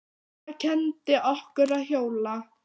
Mamma kenndi okkur að hjóla.